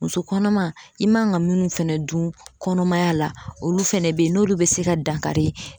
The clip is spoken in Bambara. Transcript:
Muso kɔnɔma i man ga munnu fɛnɛ dun kɔnɔmaya la olu fɛnɛ be n'olu be se ka dankari